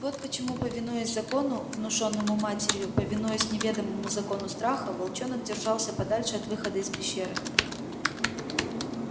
вот почему повинуясь закону внушённому матерью повинуясь неведомому закону страха волчонок держался подальше от выхода из пещеры